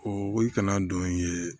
O kana don ye